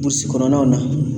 kɔnɔnaw na